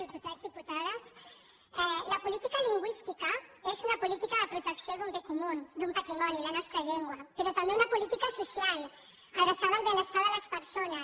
diputats diputades la política lingüística és una política de protecció d’un bé comú d’un patrimoni la nostra llengua però també una política social adreçada al benestar de les persones